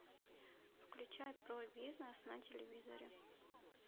включай про бизнес на телевизоре